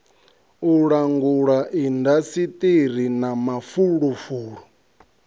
u langula indasiṱiri ya mafulufulu